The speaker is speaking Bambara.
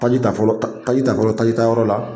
Taji ta fɔlɔ taji ta fɔlɔ tajitayɔrɔ la